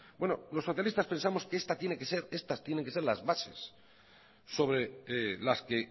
los socialistas pensamos que estas tienen que ser las bases sobre las que